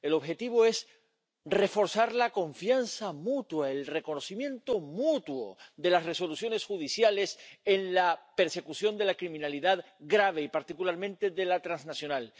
El objetivo es reforzar la confianza mutua, el reconocimiento mutuo de las resoluciones judiciales en la persecución de la criminalidad grave y, particularmente, de la transnacional.